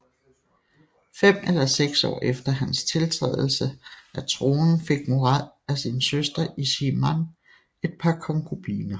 Fem eller seks år efter hans tiltrædelse af tronen fik Murad af sin søster Ismihan et par konkubiner